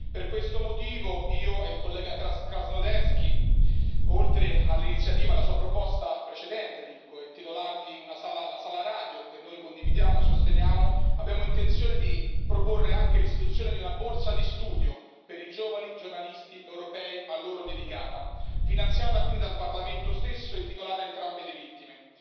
Per questo motivo, io e il collega Krasnodębski, oltre all'iniziativa e alla Sua proposta precedente di intitolare loro la sala radiofonica, che noi condividiamo e sosteniamo, abbiamo intenzione di proporre anche l'istituzione di una borsa di studio per i giovani giornalisti europei a loro dedicata, finanziata quindi dal Parlamento stesso e intitolata a entrambe le vittime,